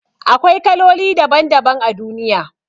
Akwai kaloli daban daban a duniya